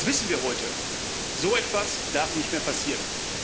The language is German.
Das wissen wir heute. So etwas darf nicht mehr passieren.